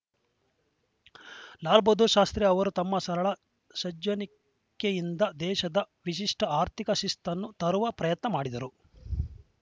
ಲಾಲ್‌ ಬಹದ್ದೂರ್‌ ಶಾಸ್ತ್ರಿ ಅವರು ತಮ್ಮ ಸರಳ ಸಜ್ಜನಿಕೆಯಿಂದ ದೇಶದ ವಿಶಿಷ್ಟಆರ್ಥಿಕ ಶಿಸ್ತನ್ನು ತರುವ ಪ್ರಯತ್ನ ಮಾಡಿದರು